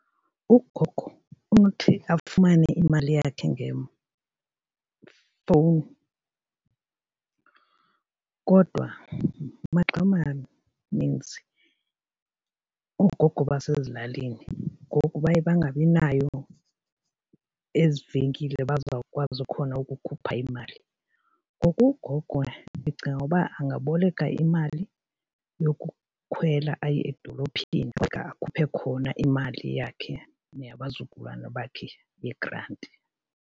Ugogo unothi afumane imali yakhe ngefowuni, kodwa maxa maninzi oogogo basezilalini ngoku baye bangabi nayo ezi venkile bazawukwazi khona ukukhupha imali. Ngoku kugogo ndicinga ukuba angaboleka imali yokukhwela aye edolophini afike akhuphe khona imali yakhe neyabazukulwana bakhe yegranti.